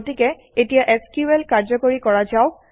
গতিকে এতিয়া এছক্যুএল কাৰ্যকৰী কৰা যাওক